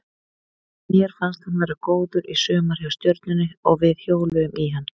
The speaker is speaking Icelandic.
Mér fannst hann vera góður í sumar hjá Stjörnunni og við hjóluðum í hann.